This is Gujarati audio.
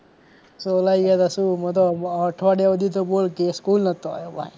છોલાય ગયા તા શું મુ તો અઠવાડિયા સુધી તો બોલ સ્કૂલ નહોતો આવ્યો ભાઈ